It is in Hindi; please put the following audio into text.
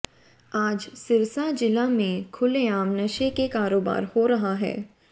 आज सिरसा जिला में खुलेआम नशे के कारोबार हो रहा है